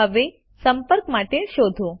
હવે સંપર્ક માટે શોધો